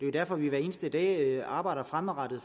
er derfor vi hver eneste dag arbejder fremadrettet